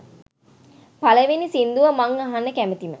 පළවෙනි සින්දුව මං අහන්න කැමතිම